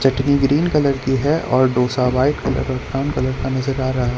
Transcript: चटनी green colour की है और डोसा व्हाइट कलर और ब्राउन कलर का नजर आ रहा।